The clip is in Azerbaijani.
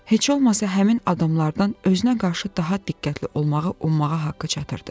Heç olmasa həmin adamlardan özünə qarşı daha diqqətli olmağı ummağa haqqı çatırdı.